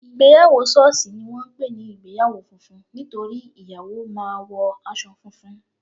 Ìgbéyàwó sọ́ọ̀sì ni wọ́n ń pè ní ìgbéyàwó funfun nítorí ìyàwó máa wo aṣọ funfun